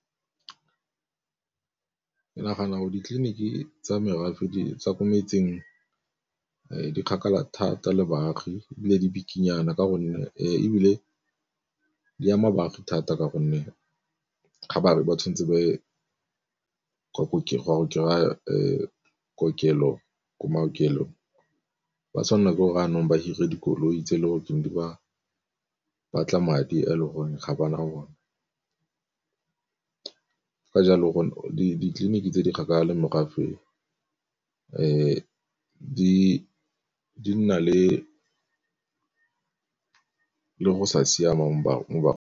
Ke nagana gore ditleliniki tsa merafe tsa ko metseng di kgakala thata le baagi ebile di bikinyana ka gonne, ebile di ama baagi thata ka gonne ga ba tshwanetse ba ye kokelo ko maokelong. Ba tshwanela ke gore jaanong ba hire dikoloi tse le gore di ba batla madi a le gore ga ba na one. Ka jalo go ditleliniki tse di kgakala morafe di nna le go sa siama .